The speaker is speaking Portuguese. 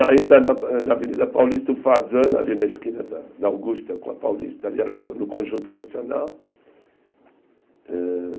Ainda na eh na Avenida Paulista, o Fasano, ali na esquina da da Augusta, com a Paulista, ali no Conjunto Nacional. Eh